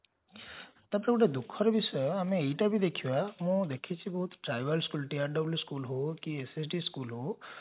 ତାପରେ ଗୋଟେ ଦୁଃଖର ବିଷୟ ଆମେ ଏଇଟା ବି ଦେଖିବା ମୁଁ ଦେଖିଛି ବୋହୁତ tribals school ହଉ school ହଉ